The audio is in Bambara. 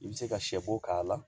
I bɛ se ka sɛ bo k'a la